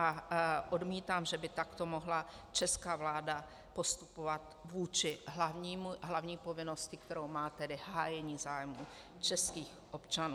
A odmítám, že by takto mohla česká vláda postupovat vůči hlavní povinnosti, kterou má, tedy hájení zájmů českých občanů.